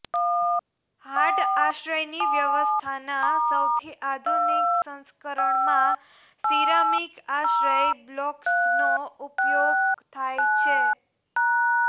hard આશ્રયની વ્યવસ્થાના સૌથી આધુનિક સંસ્કરણમાં સિરામિક આશ્રય બ્લોક્સનો ઉપયોગ થાય છે